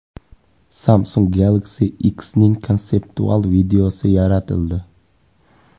Samsung Galaxy X’ning konseptual videosi yaratildi .